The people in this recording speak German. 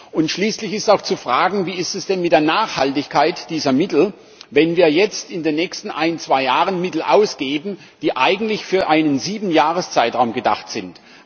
Und schließlich ist auch zu fragen Wie ist es denn mit der Nachhaltigkeit dieser Mittel, wenn wir jetzt in den nächsten ein bis zwei Jahren Mittel ausgeben, die eigentlich für einen Siebenjahreszeitraum gedacht sind?